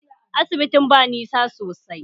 Asibitin ba nisa sosai